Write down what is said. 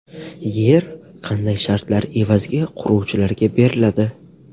Yer qanday shartlar evaziga quruvchilarga beriladi?